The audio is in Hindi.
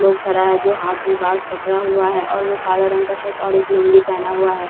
लोग खड़ा हैं जो हाथ में बास पकडा हुआ हैं और वो काला रंग का शर्ट और एक लुंगी पहना हुआ हैं।